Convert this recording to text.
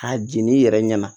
A jeninen yɛrɛ ɲɛna